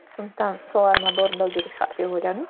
сондықтан сол арманды орындау керек шығар деп ойладым